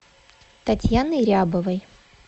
татьяны рябовой